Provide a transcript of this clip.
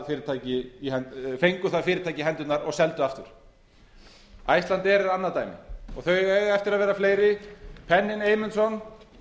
fyrirtæki í hendurnar og seldu það aftur icelandair er annað dæmi þau eiga eftir að verða fleiri penninn eymundsson